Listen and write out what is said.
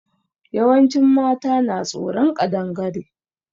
Yawancin mata na tsoron Ƙadangare.